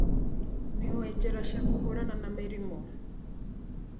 Nĩũĩ njĩra cia kũhũrana na mĩrimũ.